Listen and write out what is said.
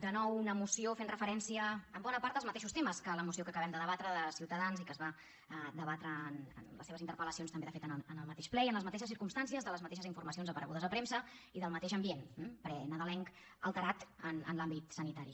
de nou una moció que fa referència en bona part als mateixos temes que la moció que acabem de debatre de ciutadans i que es va debatre les seves interpel·lacions també de fet en el mateix ple i en les mateixes circumstàncies de les mateixes informacions aparegudes a premsa i del mateix ambient prenadalenc alterat en l’àmbit sanitari